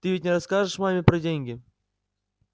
ты ведь не расскажешь маме про деньги